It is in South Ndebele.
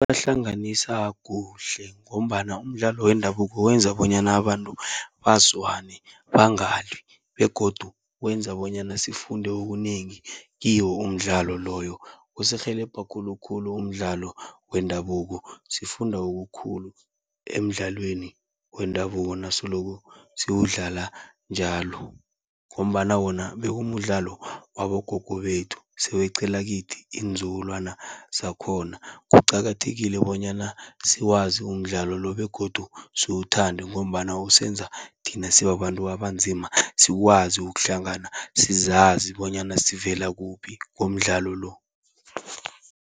Ibahlanganisa kuhle ngombana umdlalo wendabuko wenza bonyana abantu bazwane bangalwi begodu wenza bonyana sifunde okunengi kiwo umdlalo loyo. Usirhelebha khulukhulu umdlalo wendabuko, sifunda okukhulu emidlalweni wendabuko nasoloko siwudlala njalo. Ngombana wona bekumdlalo wabogogo bethu seweqela kithi iinzukulwana zakhona. Kuqakathekile bonyana siwazi umdlalo lo begodu siwuthande, ngombana usenza thina sibabantu abanzima sikwazi ukuhlangana, sizazi bonyana sivela kuphi ngomdlalo lo.